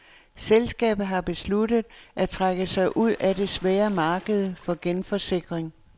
Selskabet har besluttet at trække sig ud af det svære marked for genforsikring.